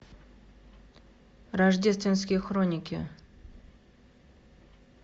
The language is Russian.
рождественские хроники